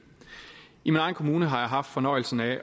i min egen kommune har jeg haft fornøjelsen af